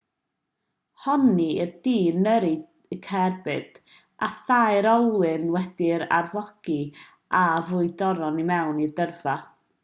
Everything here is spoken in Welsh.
honnir i'r dyn yrru cerbyd â thair olwyn wedi'i arfogi a ffrwydron i mewn i dyrfa